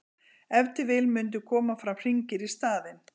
ef til vill mundu koma fram hringir í staðinn